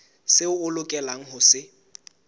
seo o lokelang ho se